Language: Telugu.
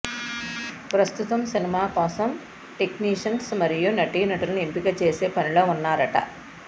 ప్రస్తుతం సినిమా కోసం టెక్నీషియన్స్ మరియు నటీనటులను ఎంపిక చేసే పనిలో ఉన్నారట